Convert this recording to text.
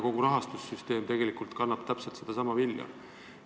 Kogu rahastussüsteem tegelikult kannab täpselt sedasama vilja.